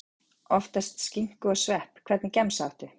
Oftast skinku og svepp Hvernig gemsa áttu?